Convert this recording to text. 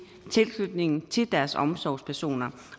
tilknytningen til deres omsorgspersoner